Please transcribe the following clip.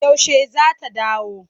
Yaushe za ta dawo?